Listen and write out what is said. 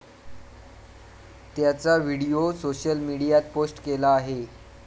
त्याचा video social मीडियात post केला आहे.